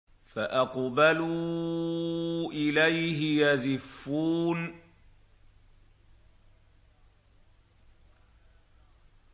فَأَقْبَلُوا إِلَيْهِ يَزِفُّونَ